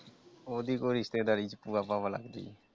ਉਹਦੀ ਕੋਈ ਰਿਸ਼ਤੇਦਾਰੀ ਚ ਭੂਆ ਭਾਵਾ ਲੱਗਦੀ ਆ ।